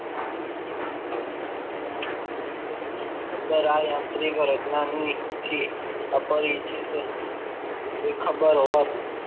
અંદર આ એક યાંત્રિક રચનાની જે અપરિચિત ખબર હોવાથ